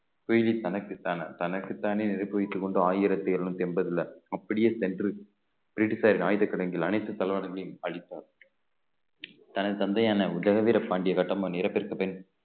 குயிலி தனக்கு தானே தனக்குத் தானே நெருப்பு வைத்துக் கொண்டு ஆயிரத்தி இருநூத்தி எண்பதுல அப்படியே சென்று பிரிட்டிஷாரின் ஆயுத கிடங்கில் அனைத்து தளவாடங்களையும் அழித்தார் தனது தந்தையான உலக வீரபாண்டிய கட்டபொம்மன் இறப்பிற்கு பின்